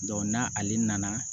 n'ale nana